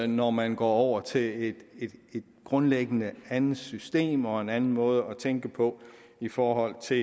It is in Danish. når man går over til et grundlæggende andet system og en anden måde at tænke på i forhold til